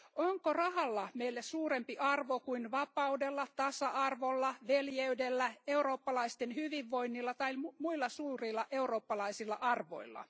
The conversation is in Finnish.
Onko rahalla meille suurempi arvo kuin vapaudella, tasa arvolla, veljeydellä, eurooppalaisten hyvinvoinnilla tai muilla suurilla eurooppalaisilla arvoilla?